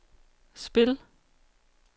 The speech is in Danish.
spil